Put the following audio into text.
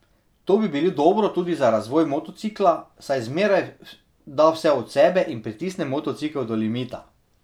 To bi bilo dobro tudi za razvoj motocikla, saj zmeraj da vse od sebe in pritisne motocikel do limita.